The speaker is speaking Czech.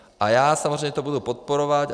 A já samozřejmě to budu podporovat.